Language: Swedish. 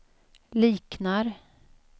liknar